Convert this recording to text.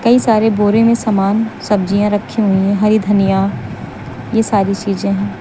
कई सारे बोरे में सामान सब्जियां रखी हुई हैं हरी धनिया ये सारी चीजें हैं।